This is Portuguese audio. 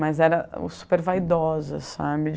Mas era super vaidosa, sabe?